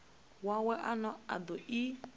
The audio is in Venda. wawe ane a do i